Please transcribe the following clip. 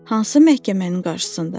Hansı məhkəmənin qarşısında?